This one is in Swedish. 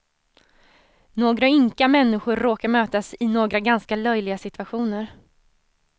Några ynka människor råkar mötas i några ganska löjliga situationer.